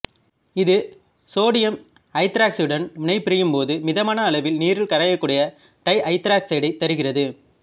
இது சோடியம் ஐதராக்சைடுடன் வினைபுரியும் போது மிதமான அளவில் நீரில் கரையக்கூடிய டைஐதராக்சைடைத் தருகிறது